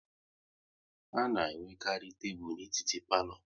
A na enwekarị tebụl etiti n'palo